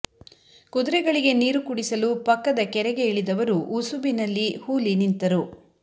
ಕುದುರೆಗಳಿಗೆ ನೀರು ಕುಡಿಸಲು ಪಕ್ಕದ ಕೆರೆಗೆ ಇಳಿದವರು ಉಸುಬಿನಲ್ಲಿ ಹೂಲಿ ನಿಂತರು